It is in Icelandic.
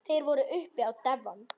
Þeir voru uppi á devon.